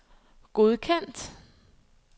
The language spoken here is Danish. godkendt